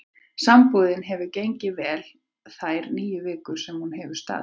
Sambúðin hefur gengið vel þær níu vikur sem hún hefur staðið.